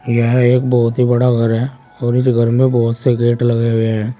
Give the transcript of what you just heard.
यह एक बहुत ही बड़ा घर है और इस घर में बहुत से गेट लगे हुए हैं।